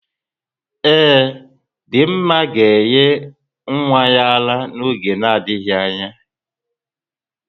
Ee, Dinma ga-enye nwa ya ara n'oge na adịghị anya.